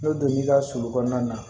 N bɛ don n'i ka sulu kɔnɔna na